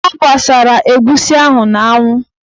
Ọ gbara egusi ahụ n'anwụ.